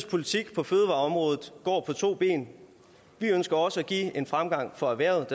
politik på fødevareområdet går på to ben vi ønsker også at give en fremgang for erhvervet